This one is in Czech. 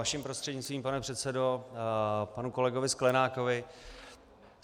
Vaším prostřednictvím, pane předsedo, panu kolegovi Sklenákovi.